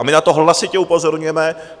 A my na to hlasitě upozorňujeme.